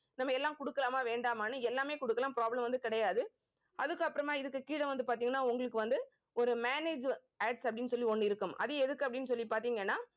நம்ம எல்லாம் கொடுக்கலாமா வேண்டாமான்னு எல்லாமே கொடுக்கலாம் problem வந்து கிடையாது. அதுக்கப்புறமா இதுக்கு கீழே வந்து பார்த்தீங்கன்னா உங்களுக்கு வந்து ஒரு manage Ads அப்படின்னு சொல்லி ஒண்ணு இருக்கும். அது எதுக்கு அப்படின்னு சொல்லி பார்த்தீங்கன்னா